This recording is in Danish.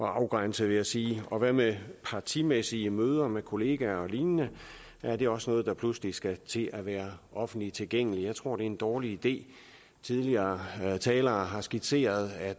afgrænse vil jeg sige og hvad med partimæssige møder med kollegaer og lignende er det også noget der pludselig skal til at være offentligt tilgængeligt jeg tror det er en dårlig idé tidligere talere har skitseret at